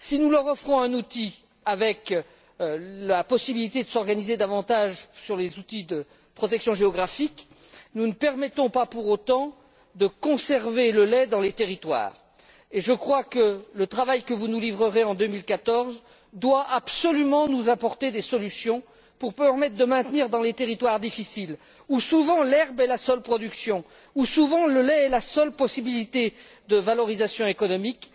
Si nous leur offrons un outil, avec la possibilité de s'organiser davantage avec les outils de protection géographique, nous ne permettons pas pour autant de conserver le lait dans ces territoires. Le travail que vous nous livrerez en 2014 doit absolument nous apporter des solutions pour permettre de maintenir cette activité dans les territoires difficiles où souvent l'herbe est la seule production, où souvent le lait est la seule possibilité de valorisation économique.